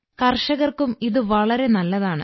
കർഷകർക്കും ഇത് വളരെ നല്ലതാണ്